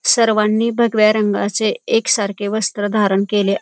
सर्वांनी भगव्या रंगाचे एक सारखे वस्त्र धरण केले --